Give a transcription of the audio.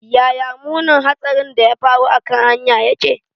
Yaya munin hatsarin da ya faru a kan hanyar yake?